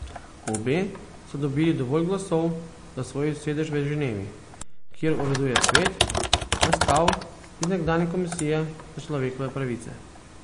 Obe sta dobili dovolj glasov za svoj sedež v Ženevi, kjer uraduje svet, nastal iz nekdanje komisije za človekove pravice.